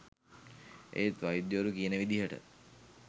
ඒත් වෛද්‍යවරු කියන විදිහට